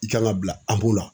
I kan ka bila la.